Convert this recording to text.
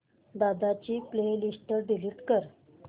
दादा ची playlist delete कर